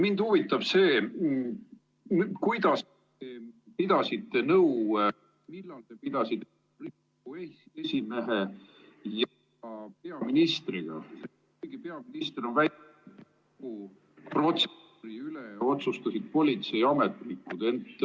Mind huvitab see, kuidas te pidasite nõu ja millal te pidasite Riigikogu esimehe ja peaministriga ... kuigi protseduuri üle otsustasid politseiametnikud.